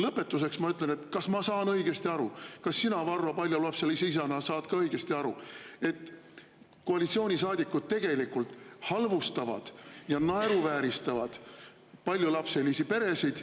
Lõpetuseks ma küsin: kas ma saan õigesti aru ja kas sina, Varro, paljulapselise isana saad ka aru, et koalitsioonisaadikud tegelikult halvustavad ja naeruvääristavad paljulapselisi peresid …